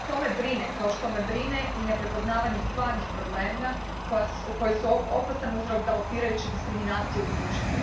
To me brine kao što me brine i neprepoznavanje stvarnih problema koji su opasan uzrok galopirajuće diskriminacije u društvu.